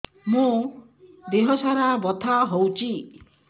ମୋ ଦିହସାରା ବଥା ହଉଚି